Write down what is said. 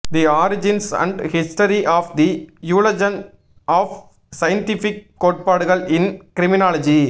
the origins and history of the evolution of scientific கோட்பாடுகள் in criminology